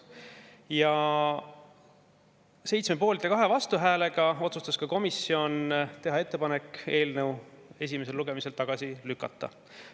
Komisjon otsustas 7 poolt‑ ja 2 vastuhäälega teha ettepaneku eelnõu esimesel lugemisel tagasi lükata.